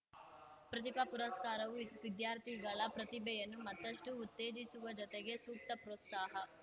ಪ್ರತಿಭಾ ಪುರಸ್ಕಾರವು ವಿದ್ಯಾರ್ಥಿಗಳ ಪ್ರತಿಭೆಯನ್ನು ಮತ್ತಷ್ಟುಉತ್ತೇಜಿಸುವ ಜೊತೆಗೆ ಸೂಕ್ತ ಪ್ರೋತ್ಸಾಹ